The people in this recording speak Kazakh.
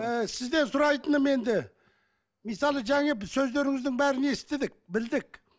ііі сізден сұрайтыным енді мысалы жаңа сөздеріңіздің бәрін естідік білдік